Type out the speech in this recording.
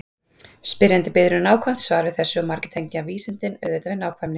Spyrjandi biður um nákvæmt svar við þessu og margir tengja vísindin auðvitað við nákvæmni.